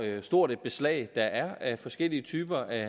stort et beslag der er af forskellige typer af